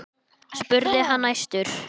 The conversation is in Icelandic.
spurði hann æstur.